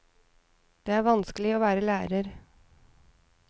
Det er vanskelig å være lærer.